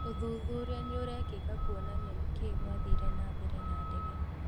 ũthuthuria nĩũrekika kwonania nĩkĩĩikwathire na mbere na ndege